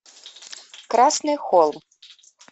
красный холм